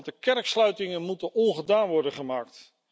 de kerksluitingen moeten ongedaan worden gemaakt.